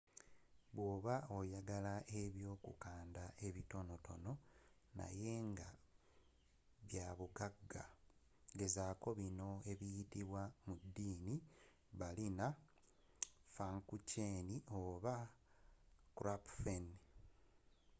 bwoba oyagala ebyokukanda ebitonotono naye ngabyabugagga gezaako bino ebiyitibwa mu ddiini berliner pfannkuchen oba krapfen